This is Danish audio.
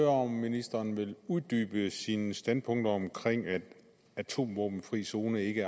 om ministeren vil uddybe sine standpunkter om at en atomvåbenfri zone ikke